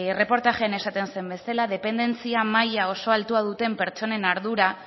erreportajean esaten zen bezala dependentzia maila oso altua duten pertsonen ardura